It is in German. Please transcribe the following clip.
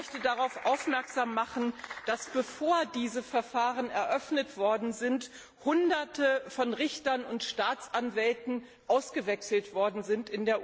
Ich möchte darauf aufmerksam machen, dass, bevor diese Verfahren eröffnet worden sind, in der Ukraine Hunderte von Richtern und Staatsanwälten ausgewechselt worden sind.